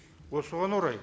осыған орай